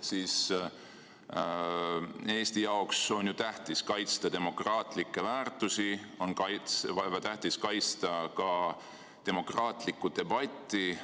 Kuna Eesti jaoks on tähtis kaitsta demokraatlikke väärtusi, on väga tähtis kaitsta ka demokraatlikku debatti,